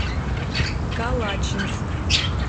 калачинск